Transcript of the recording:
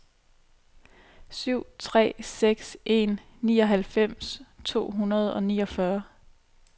syv tre seks en nioghalvfems to hundrede og niogfyrre